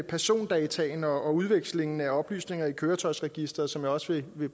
persondataene og udvekslingen af oplysninger i køretøjsregisteret som jeg også vil